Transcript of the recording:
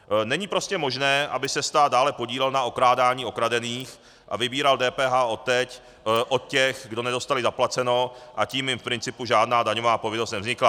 Není prostě možné, aby se stát dále podílel na okrádání okradených a vybíral DPH od těch, kdo nedostali zaplaceno, a tím ji v principu žádná daňová povinnost nevznikla.